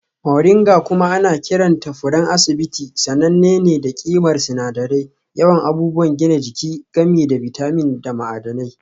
Moringa kuma ana kiranta furen asibiti sananne ne da ƙimar sinadirai, yawan abubuwan gina jiki, gami da bitamin da ma'adanai.